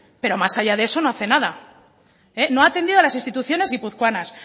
pero más allá de eso no hace nada no ha atendido las instituciones guipuzcoanas